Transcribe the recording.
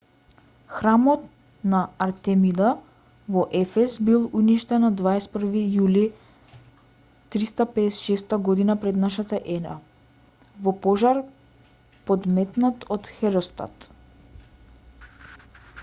храмот на артемида во ефес бил уништен на 21-ви јули 356 г п.н.е. во пожар подметнат од херострат